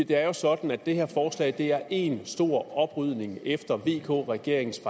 det er jo sådan at det her forslag er én stor oprydning efter vk regeringens